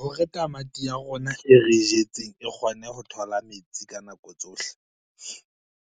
Hore tamati ya rona e re e jetseng e kgone ho thola metsi ka nako tsohle,